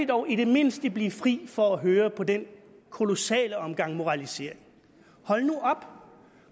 dog i det mindste kan blive fri for at høre på den kolossale omgang moralisering hold nu op